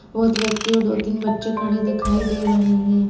बहोत व्यक्ति और दो तीन बच्चे खड़े दिखाई दे रहे है।